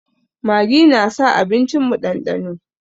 Maggi na sa abincin mu ɗanɗano